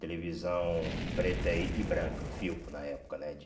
Televisão preta e branca, filco na época, né?